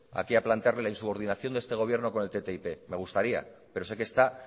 aquí a plantear la insubordinación de este gobierno con el ttip me gustaría pero sé que está